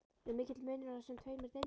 Er mikill munur á þessum tveimur deildum?